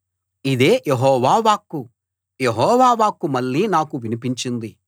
ఇదే యెహోవా వాక్కు యెహోవా వాక్కు మళ్ళీ నాకు వినిపించింది